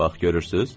Bax görürsüz?